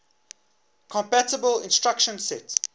compatible instruction set